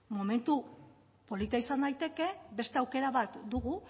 momentu polita izan daiteke beste aukera bat dugu